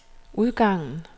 udgangen